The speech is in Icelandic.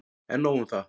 En nóg un það.